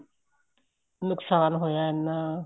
ਨੁਕਸਾਨ ਹੋਇਆ ਐਨਾ